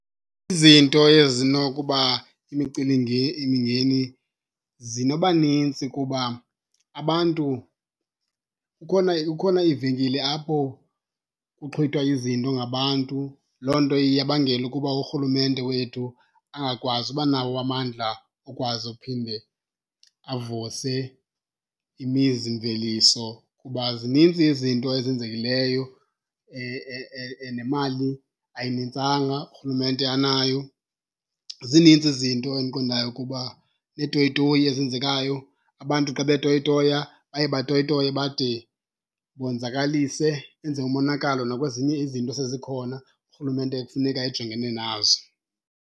Izinto ezinokuba zinoba nintsi kuba abantu kukhona, kukhona iivenkile apho kuxhithwa izinto ngabantu. Loo nto iyabangela ukuba urhulumente wethu angakwazi uba nawo amandla okwazi uphinde avuse imizimveliso kuba zininzi izinto ezenzekileyo nemali ayinintsanga urhulumente anayo. Zinintsi izinto endiqondayo ukuba neetoyitoyi ezenzekayo, abantu xa betoyitoya baye batoyitoye bade bonzakalise benze umonakalo nakwezinye izinto esezikhona urhulumente ekufuneka ejongene nazo.